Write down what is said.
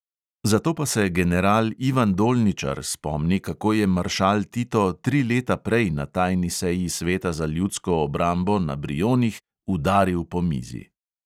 Zato pa se general ivan dolničar spomni, kako je maršal tito tri leta prej na tajni seji sveta za ljudsko obrambo na brionih udaril po mizi.